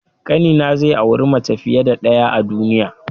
Ƙanina zai auri mace fiye da ɗaya a duniya.